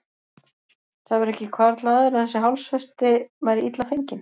Það hefur ekki hvarflað að þér að þessi hálsfesti væri illa fengin?